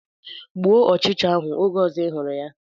Gbuo ọchịcha ahụ oge ọzọ ị hụrụ ya!